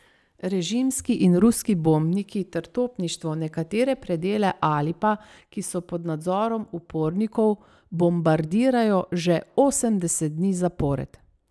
Režimski in ruski bombniki ter topništvo nekatere predele Alepa, ki so pod nadzorom upornikov, bombardirajo že osemdeset dni zapored.